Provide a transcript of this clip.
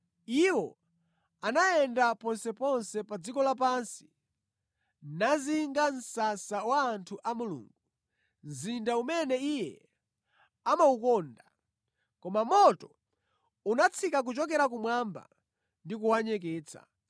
Iwo anayenda ponseponse pa dziko lapansi nazinga msasa wa anthu a Mulungu, mzinda umene Iye amawukonda. Koma moto unatsika kuchokera kumwamba ndi kuwanyeketsa.